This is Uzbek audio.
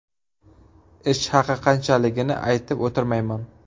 Ish haqi qanchaligini aytib o‘tirmayman.